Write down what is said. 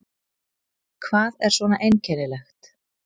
Hvað er svona einkennilegt?